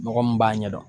Mɔgɔ min b'a ɲɛdɔn